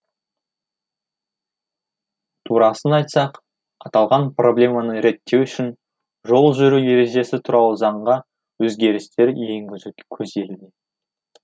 турасын айтсақ аталған проблеманы реттеу үшін жол жүру ережесі туралы заңға өзгерістер енгізу көзделуде